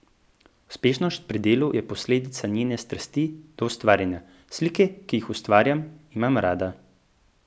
Uspešnost pri delu je posledica njene strasti do ustvarjanja: "Slike, ki jih ustvarjam, imam rada.